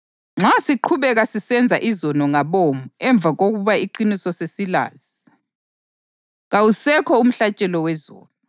Kasibambeleleni ngokuqina kulo ithemba esilikholwayo, ngoba lowo owathembisayo uthembekile.